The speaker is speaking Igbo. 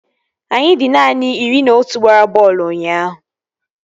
Anyị dị naanị iri na otu gbara bọọlụ ụnyaahụ